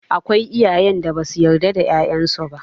Akwai iyayen da ba su yarda da 'ya'yan su ba